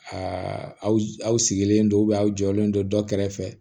aw sigilen don aw jɔlen don dɔ kɛrɛfɛ